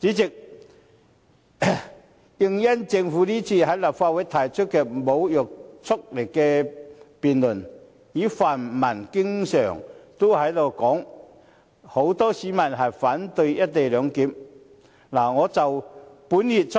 主席，因應政府今次在立法會提出無約束力的議案辯論，以及泛民經常說很多市民反對"一地兩檢"，我於本月初